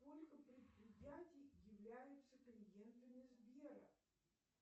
сколько предприятий являются клиентами сбера